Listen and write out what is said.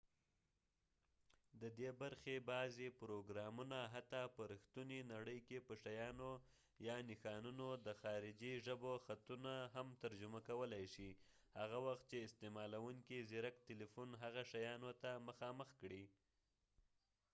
ددې برخې بعضې پروګرامونه حتي په رښتونې نړۍ کې په شیانو یا نښانونو د خارجې ژبو خطونه هم ترجمه کولای شي هغه وخت چې استعمالونکی زیرک تلیفون هغه شیانو ته مخامخ کړي